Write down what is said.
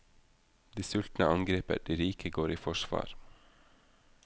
De sultne angriper, de rike går i forsvar.